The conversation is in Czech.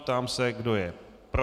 Ptám se, kdo je pro.